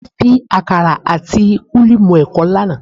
Mo fi àkàrà àti kúlíkúlí mú ẹ̀kọ lánàá